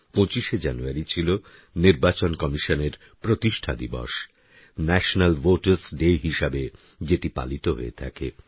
২৫শে জানুয়ারি ছিল নির্বাচন কমিশনের প্রতিষ্ঠা দিবস ন্যাশনাল ভোটারস ডে হিসেবে যেটি পালিত হয়ে থাকে